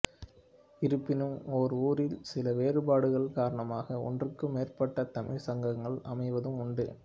இருப்பினும் ஒரே ஊரில் சில வேறுபாடுகள் காரணமாக ஒன்றுக்கு மேற்பட்ட தமிழ்ச் சங்கங்கள் அமைவதும் உண்டு